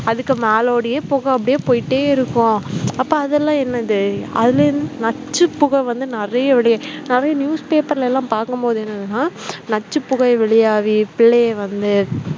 அதுக்கு மேலோடயே புகை அப்படியே போயிட்டே இருக்கும் அப்ப அதெல்லாம் என்னது அதிலிருந்து நச்சுப் புகை வந்து நிறைய வெளியே நிறைய newspaper ல எல்லாம் பார்க்கும் போது என்னதுனா நச்சுப் புகை வெளியாகி பிள்ளைங்க வந்து